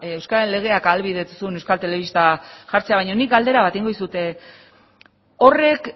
euskararen legeak ahalbidetu zuen euskal telebista jartzea baina nik galdera bat egingo dizut horrek